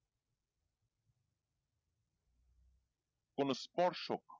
কোনো স্পর্শ